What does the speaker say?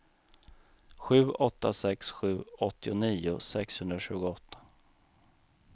sju åtta sex sju åttionio sexhundratjugoåtta